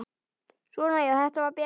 Svona já, þetta var betra.